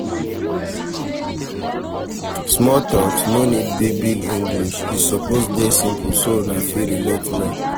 Small talks no need big big english e suppose de simple so una fit relate well